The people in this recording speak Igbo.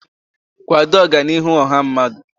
kwado Ọganihu ọha mmadụ.